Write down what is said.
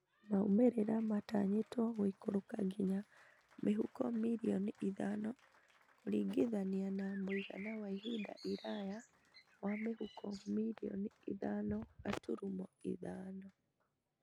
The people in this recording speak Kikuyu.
Maumĩrĩra matanyĩtwo gũikũrũka nginya mĩhuko mirioni ithano kũringithania na mũigana wa ihinda iraya wa mĩhuko mirioni ithano gaturumo ithano